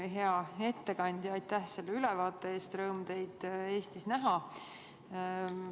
Hea ettekandja, aitäh selle ülevaate eest, rõõm teid Eestis näha!